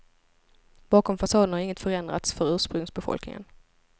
Bakom fasaden har inget förändrats för ursprungsbefolkningen.